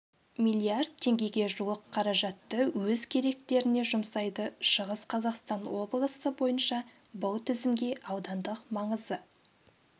миллиард теңгеге жуық қаражатты өз керектеріне жұмсайды шығыс қазақстан облысы бойынша бұл тізімге аудандық маңызы